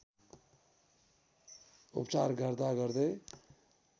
उपचार गर्दा गर्दै